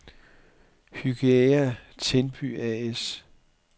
Hygæa-Tinby A/S